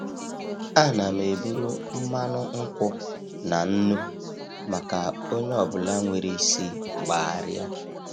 Ana m eburu mmanụ nkwụ na nnu maka onye ọ bụla nwere isi gbagharia.